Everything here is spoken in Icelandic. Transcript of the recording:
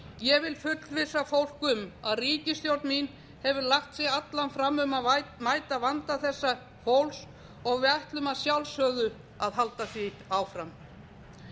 ég vil fullvissa fólk um að ríkisstjórn mín hefur lagt sig alla fram um að mæta vanda þessa fólks og við ætlum að sjálfsögðu að halda því áfram